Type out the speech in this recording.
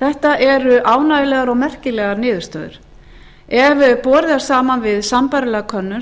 þetta eru ánægjulegar og merkilegar niðurstöður ef borið er saman við sambærilega könnun